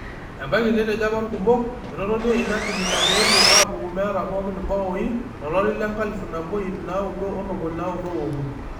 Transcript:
Ebaki netejo apa ikumok etotonie ina tim ina peepuo apuku meeta pookin imbaoi tolari le 1993.